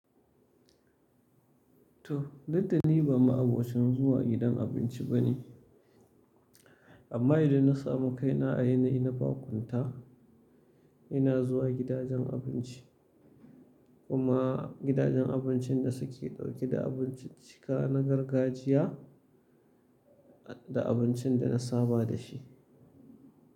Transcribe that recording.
To, duk da ni ba ma'abocin zuwa gidan abinci ba ne, amma idan na samu kaina a yanayi na baƙunta, ina zuwa gidajen abinci. Kuma gidajen abincin da suke ɗauke da abincin cika na gargajiya da abincin da na saba da shi.